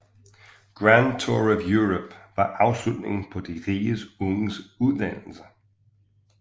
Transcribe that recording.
Grand Tour of Europe var afslutningen på de rige unges uddannelse